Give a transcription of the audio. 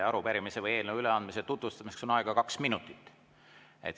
Arupärimise või eelnõu üleandmise tutvustamiseks on aega kaks minutit.